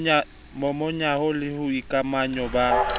momahanyo le ho boikamahanyo ba